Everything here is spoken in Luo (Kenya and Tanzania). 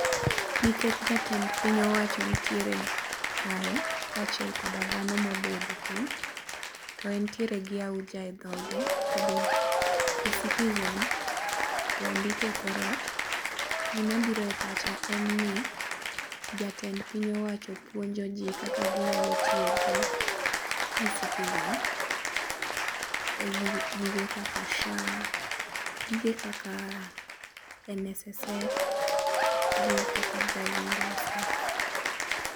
Nikech jatend piny owacho nitiere kae, kaachiel koda dhano mobedo piny to entiere gi auja e dhoge. eCitizen be ondiki e kor ot. Gima biro e pacha en ni jatend piny owacho puonjoji kaka ginyalo tiyo gi eCitizen e gige kaka SHA, gige kaka NSSF gi kata driving license.